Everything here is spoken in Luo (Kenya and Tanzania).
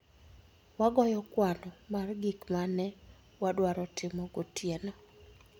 Wagoyo kwano mar gik ma ne wadwaro timo gotieno